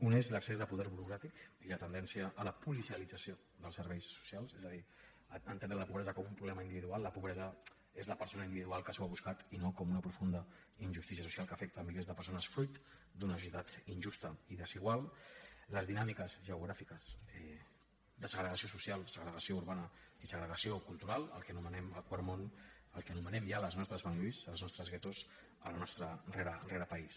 un és l’excés de poder burocràtic i la tendència a la policialització dels serveis socials és a dir entendre la pobresa com un problema individual la pobresa és la persona individual que s’ho ha buscat i no com una profunda injustícia social que afecta milers de persones fruit d’una societat injusta i desigual les dinàmiques geogràfiques de segregació social segregació urbana i segregació cultural el que anomenem el quart món el que anomenem ja les nostres banlieues els nostres guetos el nostre rerepaís